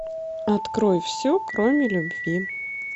открой все кроме любви